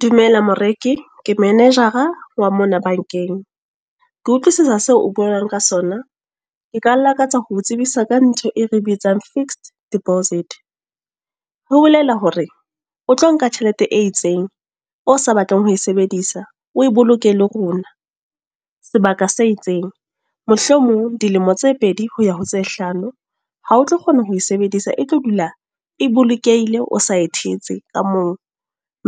Dumela moreki. Ke manager-a, wa mona bank-eng. Ke utlwisisa seo o bolelang ka sona. Nka lakatsa hoo tsebisa ka ntho e re bitsang fixed deposit. Ho bolela hore o tlo nka tjhelete e itseng, o sa batleng ho e sebedisa. O e boloke le rona. Sebaka se itseng. Mohlomong dilemo tse pedi ho ya ho tse hlano. Ha o tlo kgona ho e sebedisa, e tlo dula e bolokehile, o sa e thetse ka moo.